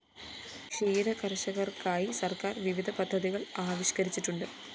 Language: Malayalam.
ക്ഷീരകര്‍ഷകര്‍ക്കായി സര്‍ക്കാര്‍ വിവിധ പദ്ധതികള്‍ ആവിഷ്‌കരിച്ചിട്ടുണ്ട്